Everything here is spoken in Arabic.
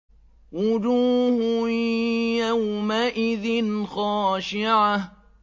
وُجُوهٌ يَوْمَئِذٍ خَاشِعَةٌ